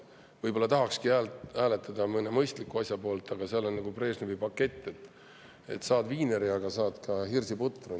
Võib-olla tahakski hääletada mõne mõistliku asja poolt, aga seal on nagu Brežnevi, et saad küll viineri, aga saad ka hirsiputru.